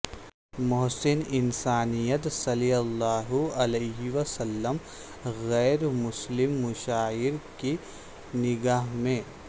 محسن انسانیت صلی اللہ علیہ وسلم غیر مسلم مشاہیر کی نگاہ میں